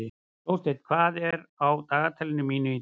Jónsteinn, hvað er á dagatalinu mínu í dag?